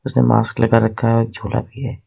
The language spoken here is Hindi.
मास्क लगा रखा है झोला भी है।